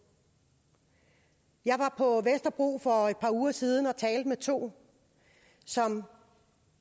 jeg var på vesterbro for et par uger siden og talte med to som